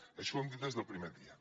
això ho hem dit des del primer dia